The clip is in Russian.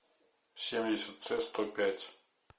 семьдесят ц сто пять